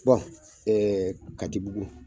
katibugu